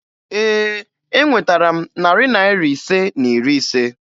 Ee, enwetara m narị Naira ise na iri ise